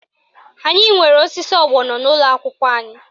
Anyị nwere osisi ọgbọnọ n'ụlọakwụkwọ anyị